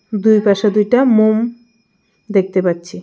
দুই পাশে দুইটা মোম দেখতে পাচ্ছি.